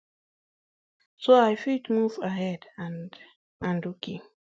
so i fit move ahead and and ok